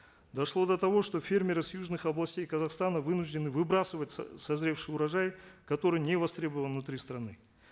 дошло до того что фермеры с южных областей казахстана вынуждены выбрасывать созревший урожай который не востребован внутри страны